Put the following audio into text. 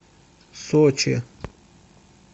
сочи